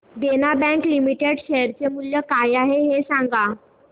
देना bank limited share चे मूल्य काय आहे हे सांगा